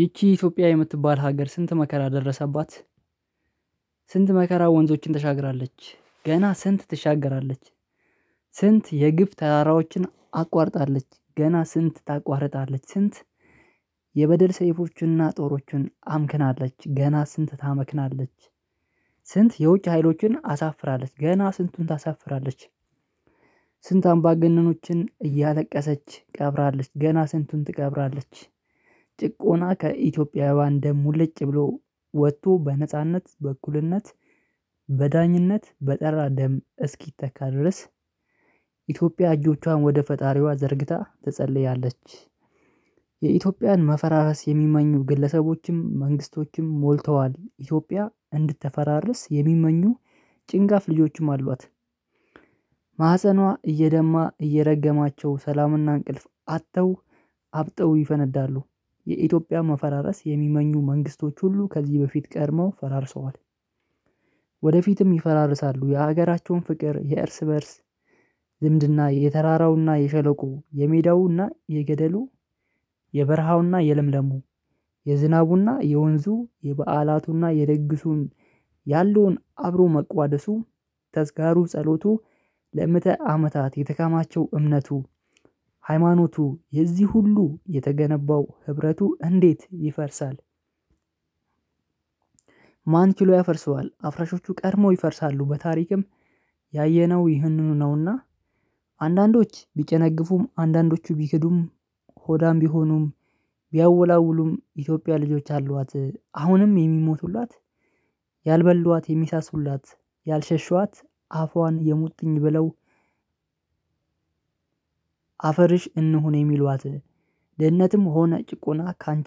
ይቺ ኢትዮጵያ የምትባል ሀገር ስንት መከራ ደረሰባት። ስንት መከራ ወንዞችን ተሻግራለች ገና ስንት ትሻገራለች። ስንት የግፍ ተራራዎችን አቋርጣለች ገና ስንት ታቋርጣለች ስንት። የበደል ሰይፎችንና ጦሮችን አምክናለች ገና ስንት ታመክናለች። ስንት የውጭ ሀይሎችን አሳፍራለች ገና ስንቱን ታሳፍራለች። ስንት አምባገነኖችን እያለቀሰች ቀብራለች ገና ስንቱን ትቀብራለች። ጭቆና ከኢትዮጵያዊ ደም ሙልጭ ብሎ ወጥቶ በነጻነት በእኩልነት በዳኝነት በጠራ ደም እስኪተካ ድረስ። ኢትዮጵያ እጆቿን ወደ ፈጣሪዋ ዘርግታ ትጸልያለች። የኢትዮጵያን መፈራረስ የሚመኙ ግለሰቦችም መንግስቶችም ሞልተዋል ኢትዮጵያ እንድትፈራርስ የሚመኙ ጭንጋፍ ልጆችም አሏት። ማህፀኗ እየደማ እየረገማቸው ሰላምና እንቅልፍ አጥተው አብጠው ይፈነዳሉ። የኢትዮጵያ መፈራረስ የሚመኙ መንግስቶች ሁሉ ከዚህ በፊት ቀድመው ፈራርሰዋል። ወደፊትም ይፈራርሳሉ። የሀገራቸውን ፍቅር የእርስ በእርስ ዝምድና የተራራውና የሸለቆው የሜዳውና የገደሉ የበረሃውና የለምለሙ የዝናቡና የወንዙ የበዓላቱና የድግሱን ያለውን አብሮ መቋደሱ ተዝካሩ ጸሎቱ ለምዕተ አመታት የተከማቸው እምነቱ ሃይማኖቱ የዚህ ሁሉ የተገነባው ህብረቱ እንዴት ይፈርሳል? ማን ችሎ ያፈርሰዋል? አፍራሾቹ ቀድመው ይፈርሳሉ በታሪክም ያየነው ይህንኑ ነውና። አንዳንዶች ቢጨነግፉም አንዳንዶቹ ቢክዱም ሆዳም ቢሆኑም ቢያወላውሉም ኢትዮጵያ ልጆች አሏት አሁንም የሚሞቱላት ያልበሏት የሚሳሱላት ያልሸሹዋት አፏን የሙጥኝ ብለው። አፈርሽ እንሁን የሚሏት ድህነትም ሆነ ጭቆና ካንቺ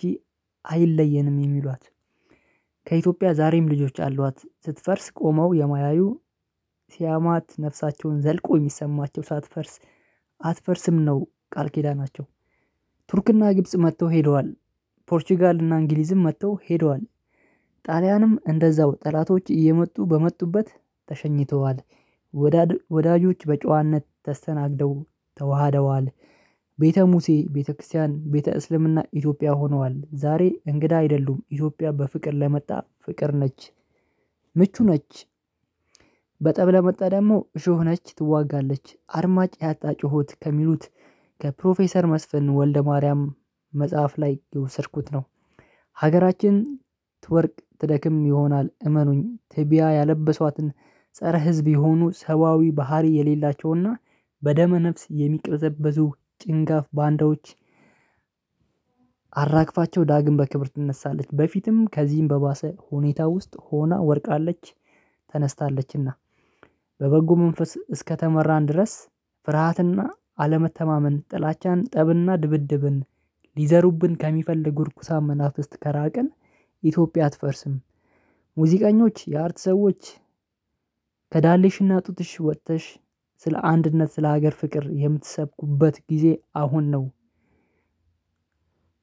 አይለየንም የሚሏት። ከኢትዮጵያ ዛሬም ልጆች አሏት ስትፈርስ ቆመው የማያዩ ሲያማት ነፍሳቸውን ዘልቆ የሚሰማቸው ሳትፈርስ አትፈርስም ነው ቃል ኪዳናቸው። ቱርክና ግብጽ መጥተው ሄደዋል ፖርቹጋል እና እንግሊዝም መጥተው ሄደዋል ጣሊያንም እንደዛው ጠላቶች እየመጡ በመጡበት ተሸኝተዋል። ወዳጆች በጨዋነት ተስተናግደው ተዋህደዋል። ቤተ ሙሴ ቤተ ክርስቲያን ቤተ እስልምና ኢትዮጵያ ሆነዋል ዛሬ እንግዳ አይደሉም። ኢትዮጵያ በፍቅር ለመጣ ፍቅር ነች። ምቹ ነች። በጠብ ለመጣ ደግሞ እሾህ ነች ትዋጋለች። አድማጭ ያጣ ጩኸት ከሚሉት ከፕሮፌሰር መስፍን ወልደ ማርያም መጽሐፍ ላይ የወሰድኩት ነው። ሀገራችን ትወድቅ ትደክም ይሆናል እመኑኝ ትቢያ ያለበሷትን ፀረ ህዝብ የሆኑ ሰብአዊ ባህሪ የሌላቸውና በደመ ነፍስ የሚቅዘበዙ ጭንጋፍ ባንዳዎች። አራግፋቸው ዳግም በክብር ትነሳለች። በፊትም ከዚህም በባሰ ሁኔታ ውስጥ ሆና ወድቃለች። ተነስታለችና። በበጎ መንፈስ እስከተመራን ድረስ ፍርሃትና አለመተማመን ጥላቻን ጠብና ድብድብን ሊዘሩብን ከሚፈልጉ እርኩሳን መናፍስት ከራቅን ኢትዮጵያ አትፈርስም። ሙዚቀኞች የአርት ሰዎች ከዳሌሽና ጡትሽ ወጥተሽ ስለ አንድነት ስለ ሀገር ፍቅር የምትሰብኩበት ጊዜ አሁን ነው።